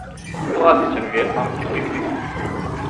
Klasičen vietnamski piknik.